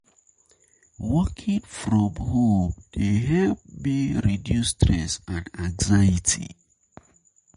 Working from from home dey help me reduce stress and anxiety.